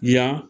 Yan